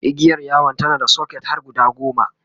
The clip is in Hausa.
igiyar yawon tana da socket har guda goma